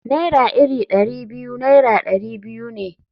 Naira iri Dari biyu Naira dari biyu ne.